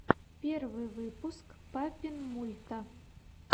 первый выпуск папинмульта